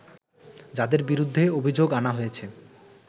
যাদের বিরুদ্ধে অভিযোগ আনা হয়েছে